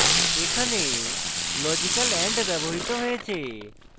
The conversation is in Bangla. এখানে লজিক্যাল and ব্যবহৃত হয়েছে